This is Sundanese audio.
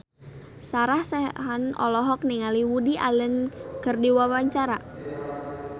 Sarah Sechan olohok ningali Woody Allen keur diwawancara